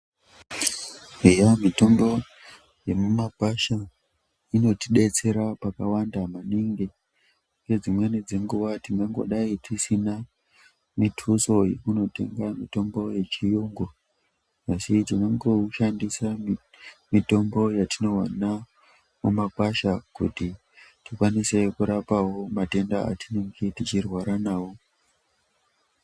Eyaa mitombo yemumagwasha inotidetsera pakawanda maningi. Ngedzimweni dzenguva tingangodai tisina mithuso yekunotenga mitombo yechiyungu, asi tinongoushandisa mitombo yatinowana mumagwasha kuti tikwanise kurapawo matenda atinenge tichirwara nawo.